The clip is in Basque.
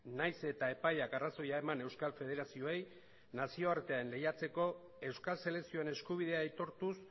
nahiz eta epaiak arrazoia eman euskal federazioei nazioartean lehiatzeko euskal selekzioen eskubidea aitortuz